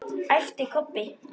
æpti Kobbi.